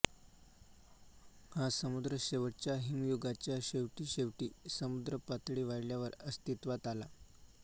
हा समुद्र शेवटच्या हिमयुगाच्या शेवटीशेवटी समुद्रपातळी वाढल्यावर अस्तित्त्वात आला